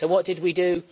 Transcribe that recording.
So what did we do?